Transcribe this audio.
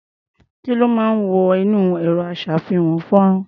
Kí ló máa ń wọ inú ẹ̀rọ-aṣá̀fihàn-fọ́nrán?